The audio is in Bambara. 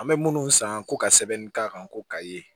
An bɛ minnu san ko ka sɛbɛnni k'a kan ko ka ye